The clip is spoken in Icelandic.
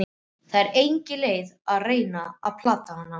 Það var engin leið að reyna að plata hana.